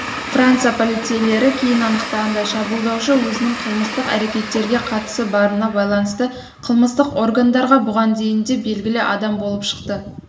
франция полицейлері кейін анықтағандай шабуылдаушы өзінің қылмыстық әрекеттерге қатысы барына байланысты қылмыстық органдарға бұға дейін де белгілі адам болып шықты